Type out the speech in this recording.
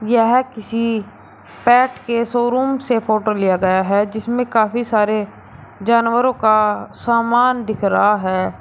यह किसी पेट के शोरूम से फोटो लिया गया है जिसमें काफी सारे जानवरों का समान दिख रहा है।